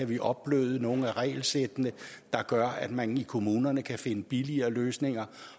vi kan opbløde nogle af regelsættene der gør at man i kommunerne kan finde billigere løsninger